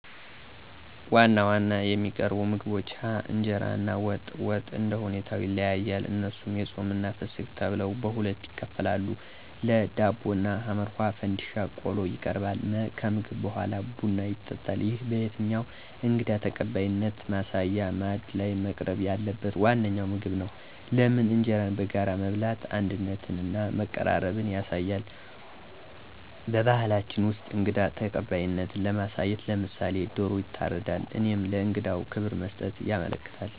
1. ዋና ዋና የሚቀርቡ ምግቦች ሀ. እንጀራ እና ወጥ፦ ወጡ እንደሁኔታው ይለያያል እነሱም የፆምና የፍስክት ተብለው በሁለት ይከፈላሉ ለ. ዳቦ እና ሐ. ፈንድሻ ቆሎ ይቀርባል መ. ከምግብ በሗላ ቡና ይጠጣል ይህ በየትኛውም እንግዳ ተቀባይነት ማሳያ ማዕድ ላይ መቅረብ ያለበት ዋነኛው ምግብ ነው። * ለምን? እንጀራን በጋራ መብላት አንድነትንና መቀራረብን ያሳያል። *በባህላችን ውስጥ እንግዳ ተቀባይነትን ለማሳየት *ለምሳሌ፦ ዶሮ ይታረዳል እሄም ለእንግዳው ክብር መስጠትን ያመለክታል።